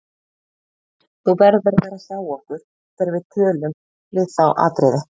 Þú verður að vera hjá okkur þegar við tölun við þá Atriði.